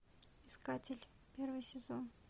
искатель первый сезон